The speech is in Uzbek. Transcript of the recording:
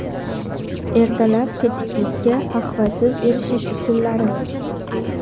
Ertalab tetiklikka qahvasiz erishish usullari.